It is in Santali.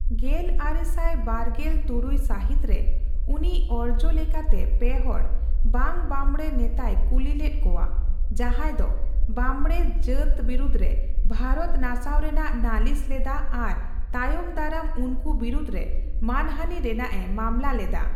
ᱜᱮᱞ ᱟᱨᱮ ᱥᱟᱭ ᱵᱟᱨᱜᱮᱞ ᱛᱩᱨᱩᱭ ᱥᱟᱦᱤᱛ ᱨᱮ ᱩᱱᱤ ᱚᱨᱡᱚ ᱞᱮᱠᱟᱛᱮ ᱯᱮ ᱦᱚᱲ ᱵᱟᱝᱼᱵᱟᱢᱵᱚᱽᱲᱮ ᱱᱮᱛᱟᱭ ᱠᱩᱞᱤᱞᱮᱫ ᱠᱚᱣᱟ, ᱡᱟᱦᱟᱣ ᱫᱚ ᱵᱟᱢᱵᱽᱲᱮ ᱡᱟᱹᱛ ᱵᱤᱨᱩᱫ ᱨᱮ ᱵᱷᱟᱨᱚᱛ ᱱᱟᱥᱟᱣ ᱨᱮᱱᱟᱜ ᱱᱟᱞᱤᱥ ᱞᱮᱫᱟ ᱟᱨ ᱛᱟᱭᱚᱢ ᱫᱟᱨᱟᱢ ᱩᱱᱠᱩ ᱵᱤᱨᱩᱫ ᱨᱮ ᱢᱟᱹᱱᱦᱟᱹᱱᱤ ᱨᱮᱱᱟᱜ ᱠᱚ ᱢᱟᱢᱞᱟ ᱞᱮᱫᱟ ᱾